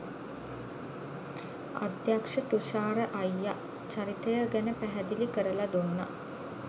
අධ්‍යක්ෂ තුෂාර අයියා චරිතය ගැන පැහැදිලි කරලා දුන්නා